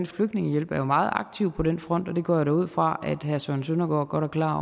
flygtningehjælp er jo meget aktiv på den front og det går jeg da ud fra at herre søren søndergaard godt er klar